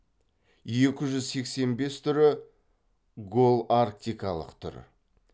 екі жүз сексен бес түрі голарктикалық түрі